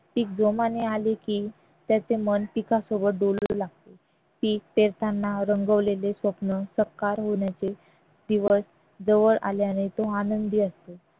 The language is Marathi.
पीक जोमाने आले की त्याचे मन पिकासोबत डोलू लागते पीक येताना रंगवलेले स्वप्न साकार होण्याचे दिवस जवळ आल्याने तो आनंदी असतो